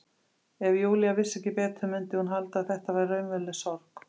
Ef Júlía vissi ekki betur mundi hún halda að þetta væri raunveruleg sorg.